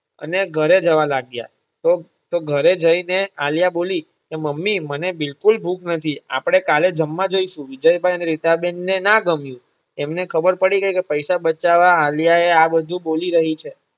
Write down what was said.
અને ઘરે જવા લાગ્યા તો તો ઘરે જઈ ને આલિયા બોલી કે મમ્મી મને બિલકુલ ભૂખ નથી આપણે કાલે જમવા જઈશું વિજયભાઇ અને રીટાબેન ને ના ગમ્યું એમને ખબર પડી ગઈ કે પૈસા બચાવવા આલિયા એ આ બધુ બોલી રહી છે.